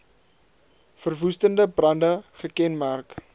verwoestende brande gekenmerk